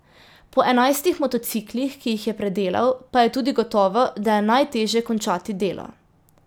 Po enajstih motociklih, ki jih je predelal, pa je tudi gotovo, da je najtežje končati delo.